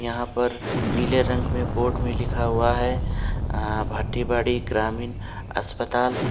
यहां पर नीले रंग में बोर्ड में लिखा हुआ है भाटीबड़ी ग्रामीण अस्पताल --